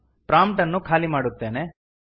prompt ಅನ್ನು ಖಾಲಿ ಮಾಡುತ್ತೇನೆ